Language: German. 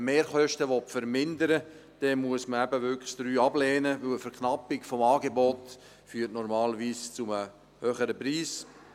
Wenn man Mehrkosten vermindern will, muss man den Punkt 3 eben wirklich ablehnen, denn eine Verknappung des Angebots führt normalerweise zu einem höheren Preis.